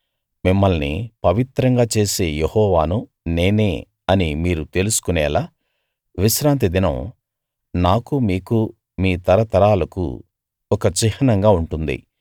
మిమ్మల్ని పవిత్రంగా చేసే యెహోవాను నేనే అని మీరు తెలుసుకునేలా విశ్రాంతి దినం నాకు మీకు మీ తరతరాలకు ఒక చిహ్నంగా ఉంటుంది